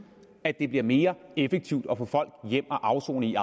at det bliver mere effektivt at man får folk hjem at afsone i